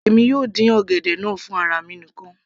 èmi yóò dín ọ̀gẹ̀dẹ̀ náà fún ara mi nìkan